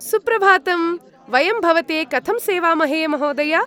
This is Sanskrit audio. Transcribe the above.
सुप्रभातम्। वयं भवते कथं सेवामहे, महोदय? (आरक्षकः)